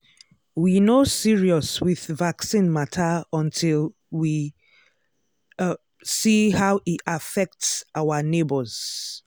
we no serious with vaccine matter until we um see how e affect our neighbors.